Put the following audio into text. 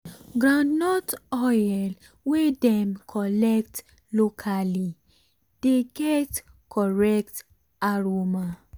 groundnut oil wey dem collect locally dey get correct aroma